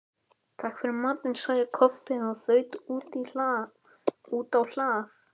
Takk fyrir matinn, sagði Kobbi og þaut út á hlað.